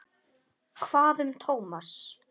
Hvað um Thomas?